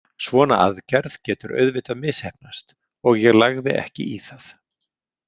Svona aðgerð getur auðvitað misheppnast og ég lagði ekki í það.